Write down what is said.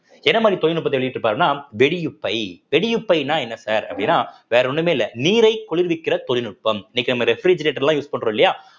என்ன மாதிரி தொழில்நுட்பத்தை வெளியிட்டு இருப்பாருன்னா வெடியுப்பை வெடியுப்பைன்னா என்ன sir அப்படின்னா வேற ஒண்ணுமே இல்ல நீரை குளிர்விக்கிற தொழில்நுட்பம் இன்னைக்கு நம்ம refrigerator எல்லாம் use பண்றோம் இல்லையா